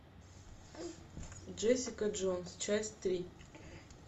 джессика джонс часть три